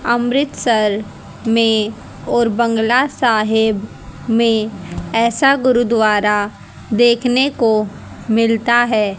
अमृतसर में और बंगला साहेब में ऐसा गुरुद्वारा देखने को मिलता है।